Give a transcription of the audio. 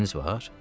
Xəstəniz var?